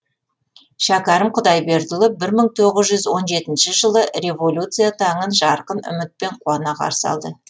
шәкәрім құдайбердіұлы бірі мың тоғыз жүз он жетінші жылы революция таңын жарқын үмітпен қуана қарсы алды